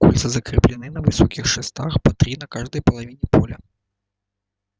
кольца закреплены на высоких шестах по три на каждой половине поля